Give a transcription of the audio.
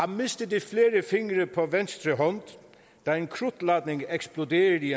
mistede flere fingre på venstre hånd da en krudtladning eksploderede i